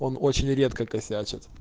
он очень редко косячит